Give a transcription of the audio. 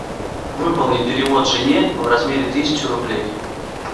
выполни перевод жене в размере тысячи рублей